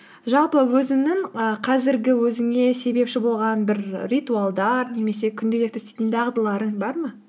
жалпы өзіңнің і қазіргі өзіңе себепші болған бір ритуалдар немесе күнделікті істейтін дағдыларың бар ма